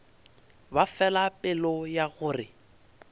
ba fela pelo ya gore